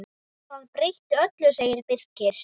Það breytir öllu, segir Birkir.